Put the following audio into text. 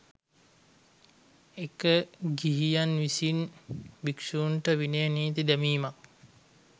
එක ගිහියන් විසින් භික්ෂුන්ට විනය නීති දැමීමක්